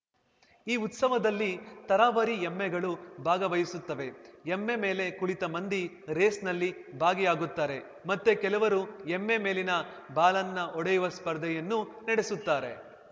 ಈ ಉತ್ಸವದಲ್ಲಿ ತರಾವರಿ ಎಮ್ಮೆಗಳು ಭಾಗವಹಿಸುತ್ತವೆ ಎಮ್ಮೆ ಮೇಲೆ ಕುಳಿತ ಮಂದಿ ರೇಸ್‌ನಲ್ಲಿ ಭಾಗಿಯಾಗುತ್ತಾರೆ ಮತ್ತೆ ಕೆಲವರು ಎಮ್ಮೆ ಮೇಲಿನ ಬಾಲನ್ನು ಹೊಡೆಯುವ ಸ್ಪರ್ಧೆಯನ್ನು ನಡೆಸುತ್ತಾರೆ